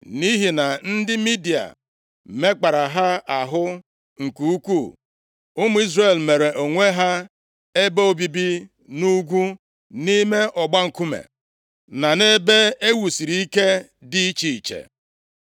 Nʼihi na ndị Midia mekpara ha ahụ nke ukwuu, ụmụ Izrel meere onwe ha ebe obibi nʼugwu, nʼime ọgba nkume, na nʼebe e wusiri ike dị iche iche.